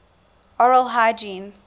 oral hygiene